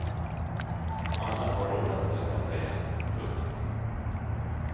Alla har råd att skaffa sig en. punkt